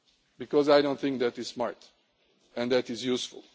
Because I do not think that is smart and that is useful.